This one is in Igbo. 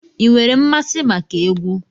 Ị nwere mmasị maka egwu?